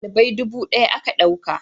dalibai dubu daya aka dauka